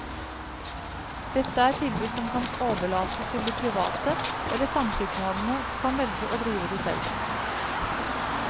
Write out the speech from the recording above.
Dette er tilbud som kan overlates til de private, eller samskipnadene kan velge å drive det selv.